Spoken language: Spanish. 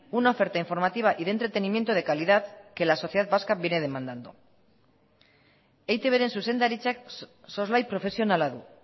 una oferta informativa y de entretenimiento de calidad que la sociedad vasca viene demandando eitbren zuzendaritzak soslai profesionala du